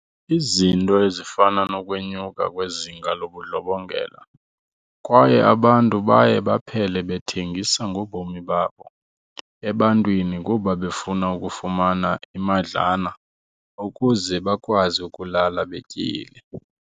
Izinto ezifana nokwenyuka kwezinga lobudlobongela kwaye abantu baye baphele bethengisa ngobomi babo ebantwini kuba befuna ukufumana imadlana ukuze bakwazi ukulala betyile.